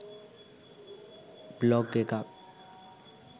blog එකක්